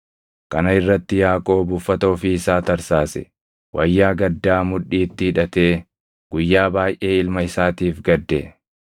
Kana irratti Yaaqoob uffata ofii isaa tarsaase; wayyaa gaddaa mudhiitti hidhatee guyyaa baayʼee ilma isaatiif gadde.